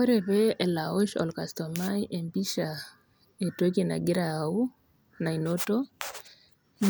Ore pee elo aosh olkastoomai empisha entoki nagira aau nainoto,